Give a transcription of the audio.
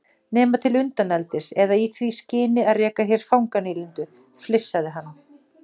Nema til undaneldis eða í því skyni að reka hér fanganýlendu, flissaði hann.